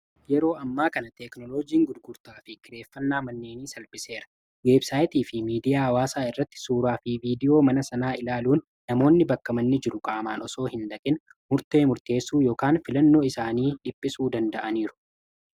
Yeroo ammaa kana teeknoloojiin gurgurtaa fi kireeffannaa manneenii salphiseera weebsaayitii fi miidiyaa waasaa irratti suuraa fi viidiyoo mana sanaa ilaaluun namoonni bakkamanni jiru qaamaan osoo hin dhaqin murtee murteessuu ykan filannoo isaanii dhiphisuu danda'aniiru.